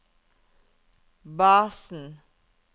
basen